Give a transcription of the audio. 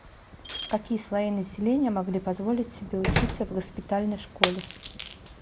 какие слои населения могли позволить себе учиться в госпитальной школе